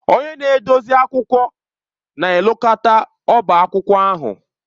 Onye na-edozi akwụkwọ na-elekọta ọbá akwụkwọ ahụ